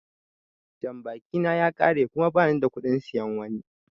Jambaki na ya ƙare kuma ba nida kuɗin siyan wani.